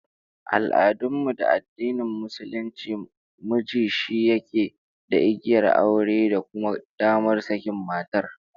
A al'adun mu da addinin Musulunci, miji shi yake da igiyar aure da kuma damar sakin matar